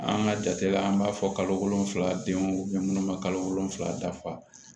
An ka jate la an b'a fɔ kalo wolonfila denw minnu ma kalo wolonwula dafa